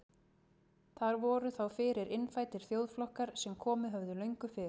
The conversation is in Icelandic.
Þar voru þá fyrir innfæddir þjóðflokkar sem komið höfðu löngu fyrr.